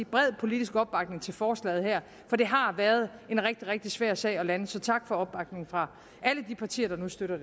bred politisk opbakning til forslaget her for det har været en rigtig rigtig svær sag at lande så tak for opbakningen fra alle de partier der nu støtter